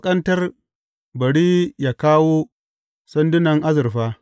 Ka ƙasƙantar, bari yă kawo sandunan azurfa.